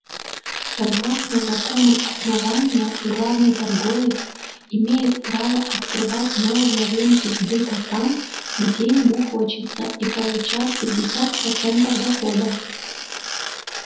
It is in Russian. согласно законам основания главный торговец имеет право открывать новые рынки сбыта там где ему хочется и получать пятьдесят процентов дохода